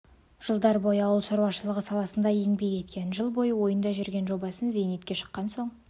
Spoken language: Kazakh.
жылдар бойы ауыл шаруашылығы саласында еңбек еткен жыл бойы ойында жүрген жобасын зейнетке шыққан соң